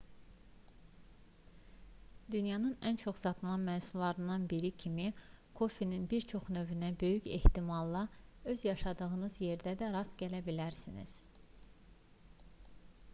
dünyanın ən çox satılan məhsullarından biri kimi kofenin bir çox növünə böyük ehtimalla öz yaşadığınız yerdə də rast gələ bilərsiniz